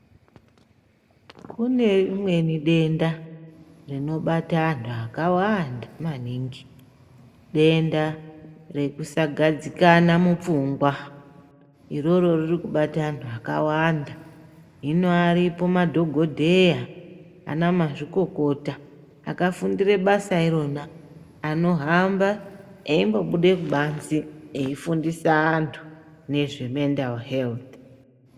Kune rimweni denda rinobata antu akawana maningi, denda ekusagadzikana mupfungwa, iroro ririkubata antu akawanda. Hino aripo madhogodheya nana mazvikokota akafundire basa irona anohamba achimbobude kubanzi eifundisa antu nezvemendariheroti.